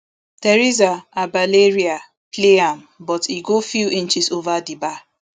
teresa abelleria play am but e go few inches ova di bar